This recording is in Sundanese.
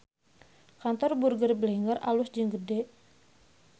Kantor Burger Blenger alus jeung gede